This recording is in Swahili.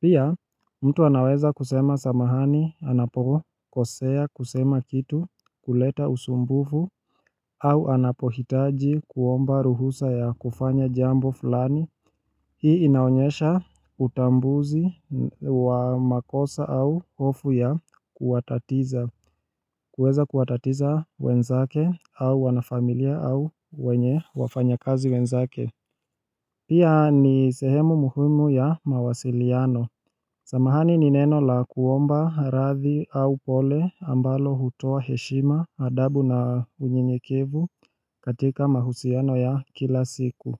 Pia mtu anaweza kusema samahani anapo kosea kusema kitu kuleta usumbufu au anapohitaji kuomba ruhusa ya kufanya jambo fulani hii inaonyesha utambuzi wa makosa au hofu ya kuwatatiza kuweza kuwatatiza wenzake au wana familia au wenye wafanya kazi wenzake Pia ni sehemu muhumi ya mawasiliano Samahani ni neno la kuomba radhi au pole ambalo hutoa heshima adabu na unyenyekevu katika mahusiano ya kila siku.